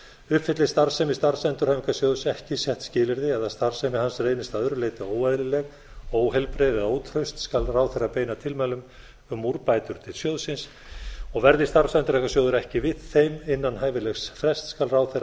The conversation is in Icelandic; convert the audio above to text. uppfylli starfsemi starfsendurhæfingarsjóðs ekki sett skilyrði eða starfsemi hans felist að öðru leyti óeðlileg óheilbrigð eða ótraust skal ráðherra beina tilmælum um úrbætur til sjóðsins verði starfsendurhæfingarsjóður ekki við þeim innan hæfilegs frests skal ráðherra